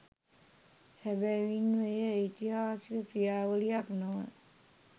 සැබවින්ම එය ඓතිහාසික ක්‍රියාවලියක් නොව